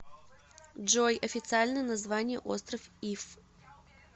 джой официальное название остров иф